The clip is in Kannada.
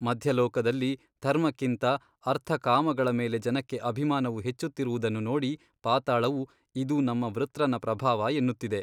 ಮಧ್ಯಲೋಕದಲ್ಲಿ ಧರ್ಮಕ್ಕಿಂತ ಅರ್ಥಕಾಮಗಳ ಮೇಲೆ ಜನಕ್ಕೆ ಅಭಿಮಾನವು ಹೆಚ್ಚುತ್ತಿರುವುದನ್ನು ನೋಡಿ ಪಾತಾಳವು ಇದು ನಮ್ಮ ವೃತ್ರನ ಪ್ರಭಾವ ಎನ್ನುತ್ತಿದೆ.